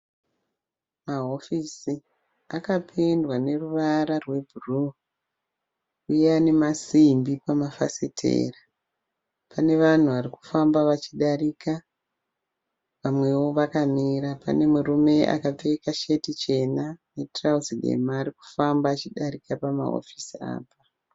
Mahofisi akapendwa neruvara rwebhuruwu, uye anemasimbi pamafasitera. Pane vanhu varikufamba vachidarika. Vamwewo vakamira. Pane murume akapfeka sheti chena netirauzi dema arikufamba achidarika pamahofisi apa.